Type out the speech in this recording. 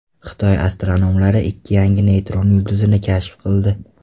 Xitoy astronomlari ikki yangi neytron yulduzini kashf qildi.